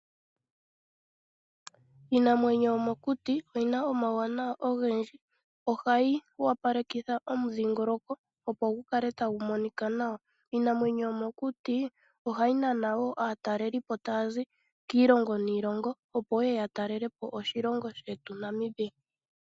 Iinamwenyo yomo kuti oyina omawu wanawa ogendji. Ohayi wapalekitha omu dhingoloko opo gukale tagu monika nawa. Iinamwenyo yomo kuti oha yi nana wo aatalelipo taya zi kiilongo niilongo opo yeye ya talelepo oshilongo shetu Namibia.